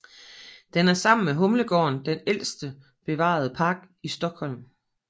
Den er sammen med Humlegården den ældste bevarede park i Stockholm